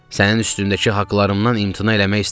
Sənin üstündəki haqlarımdan imtina eləmək istəmirəm.